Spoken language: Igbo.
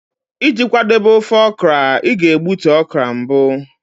Iji kwadebe ofe okra, ị ga-egbutu okra mbụ